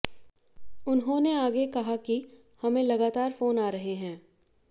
उन्होंने आगे कहा कि हमें लगातार फोन आ रहे हैं